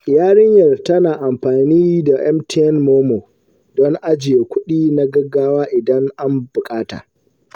Yarinyar tana amfani da MTN MoMo don ajiye kudi na gaggawa idan an bukata.